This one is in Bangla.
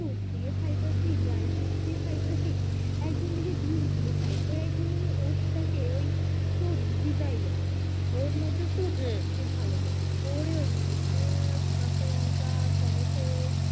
দুধ দিয়া খাইতাছি drifood দিয়া খাইতাছি একদিন আমি ভাবলাম ডিম দিয়া খাই তো একদিন আমি otes টাকে ওই একটু ভেজাইয়া ওর মধ্যে সবজি হু ভালো করে করে ওর মধ্যে পিয়াজ কাঁচা লঙ্কা টমেটো